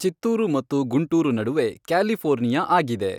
ಚಿತ್ತೂರು ಮತ್ತು ಗುಂಟೂರು ನಡುವೆ ಕ್ಯಾಲಿಫೋರ್ನಿಯಾ ಆಗಿದೆ